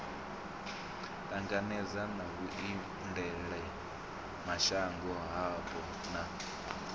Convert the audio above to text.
ṱangana na vhuendelamashango hapo na